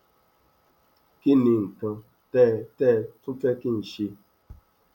kí ni nǹkan tẹ tẹ ẹ tún fẹ kí n ṣe